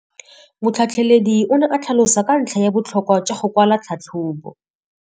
Motlhatlheledi o ne a tlhalosa ka ntlha ya botlhokwa jwa go kwala tlhatlhôbô.